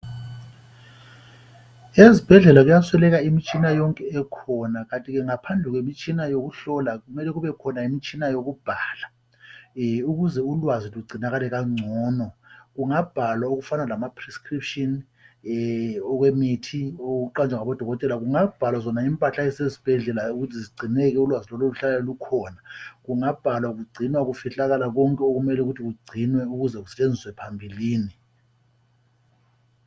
Ezibhedlela kuyasweleka imiĵtshina yonke emele ibekhona kanti ngaphandle kwemitshina yokuhlola kungabakhona imitshina yokubhala ukuze ulwazi lugcinakale kangcono. Kungabhalwa imithi eqanjwe ngodokotela kuzigulane, impahla ezisezibhedlela ukuthi zigcineke ulwazi Lolo luhlale lukhona. Kungabhalwa konke ukuze ulwazi Lolo lusetshenziswe phambili.